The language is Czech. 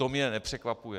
To mě nepřekvapuje.